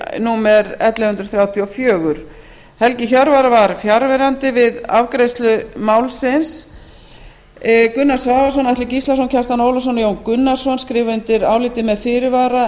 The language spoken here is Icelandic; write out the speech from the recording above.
númer ellefu hundruð þrjátíu og fjögur helgi hjörvar var fjarverandi við afgreiðslu málsins gunnar svavarsson atli gíslason kjartan ólafsson og jón gunnarsson skrifa undir álitið með fyrirvara